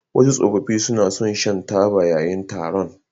Wasu tsoffi suna son shan taba yayin taron.